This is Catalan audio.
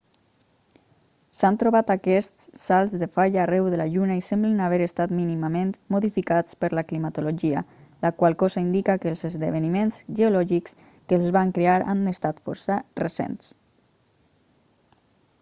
s'han trobat aquests salts de falla arreu de la lluna i semblen haver estat mínimament modificats per la climatologia la qual cosa indica que els esdeveniments geològics que els van crear han estat força recents